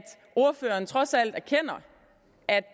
ordføreren trods alt erkender at